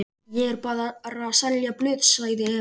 Ég er bara að selja blöð, sagði Emil.